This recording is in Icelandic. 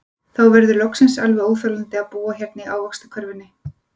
Þá verður loksins alveg óþolandi að búa hérna í ávaxtakörfunni.